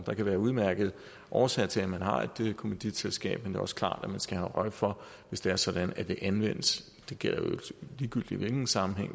der kan være udmærkede årsager til at man har et kommanditselskab men det er også klart at man skal have øje for hvis det er sådan at det anvendes det gælder jo ligegyldigt i hvilken sammenhæng